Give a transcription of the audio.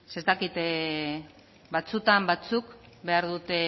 ze ez dakit batzuetan batzuk behar dute